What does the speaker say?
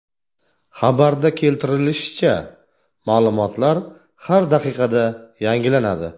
Xabarda keltirilishicha, ma’lumotlar har daqiqada yangilanadi.